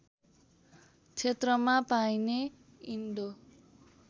क्षेत्रमा पाइने इन्डो